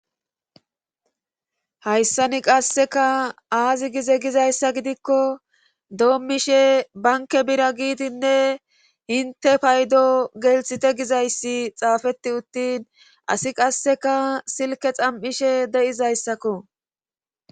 hayssani qasseka aazi gize gizayssa gidikko doommishe banke bira giidinne hinte paydo gelthite gizayssi xaafeti uttin asi qasseka silke xam7ishe de7izayssakko